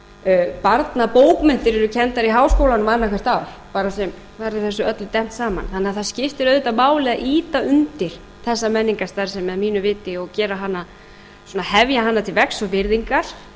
fullorðinsmenningin barnabókmenntir eru kenndar í háskólanum annað hvert ár þar er þessu öllu dembt saman þannig að það skiptir auðvitað máli að ýta undir þessa menningarstarfsemi að mínu viti og hefja hana til vegs og virðingar ekki síst bara út